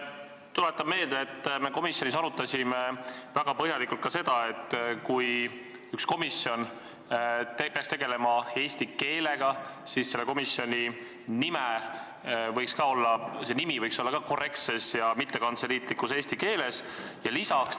Tuletan meelde, et me komisjonis arutasime väga põhjalikult ka seda, et kui üks komisjon peaks tegelema eesti keelega, siis võiks ka selle komisjoni nimi olla korrektses ja mittekantseliitlikus eesti keeles.